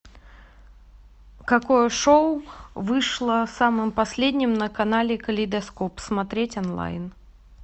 какое шоу вышло самым последним на канале калейдоскоп смотреть онлайн